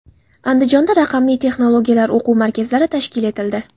Andijonda raqamli texnologiyalar o‘quv markazlari tashkil etildi.